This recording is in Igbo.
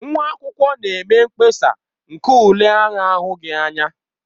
Nwa akwụkwọ na-eme mkpesa nke ule a na-ahụghị anya.